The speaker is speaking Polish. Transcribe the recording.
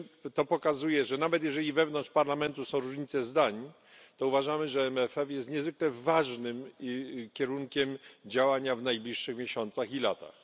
To pokazuje, że nawet jeżeli wewnątrz parlamentu są różnice zdań, to uważamy, że MFF jest niezwykle ważnym kierunkiem działania w najbliższych miesiącach i latach.